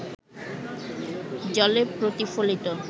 জলে প্রতিফলিত